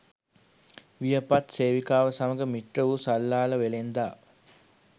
වියපත් සේවිකාව සමඟ මිත්‍ර වූ සල්ලාල වෙළෙන්දා